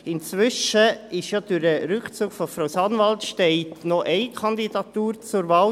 Inzwischen steht ja durch den Rückzug von Frau Sanwald noch eine Kandidatur zur Wahl.